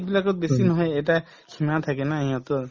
এইবিলাকত বেছি নহয়ে এটা থাকে না সিহঁতৰ